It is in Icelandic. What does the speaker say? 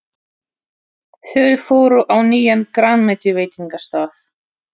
Þau fóru á nýjan grænmetisveitingastað.